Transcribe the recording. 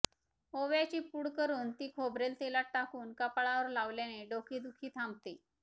ओव्याची पूड करून ती खोबरेल तेलात टाकून कपाळावर लावल्याने डोकेदुखी थांबते